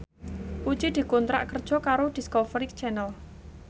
Puji dikontrak kerja karo Discovery Channel